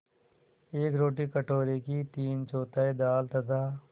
एक रोटी कटोरे की तीनचौथाई दाल तथा